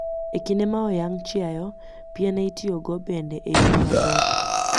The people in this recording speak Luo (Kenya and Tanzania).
E kinde ma oyang' chiayo, piene itiyogo bende e yore mathoth